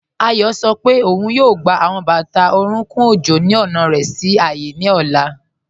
Ayo sọ pe ọun yóò gbà awọn bátà orùnkùn ọjọ́ ni ọna rẹ sí ààyé ni ọla.